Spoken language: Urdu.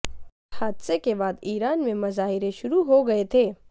اس حادثے کے بعد ایران میں مظاہرے شروع ہو گئے تھے